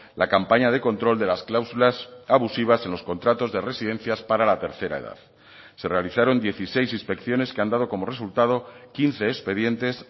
la campaña de control de las cláusulas abusivas en los contratos de residencias para la tercera edad se realizaron dieciséis inspecciones que han dado como resultado quince expedientes